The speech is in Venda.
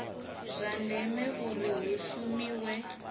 zwa ndeme uri hu shumiwe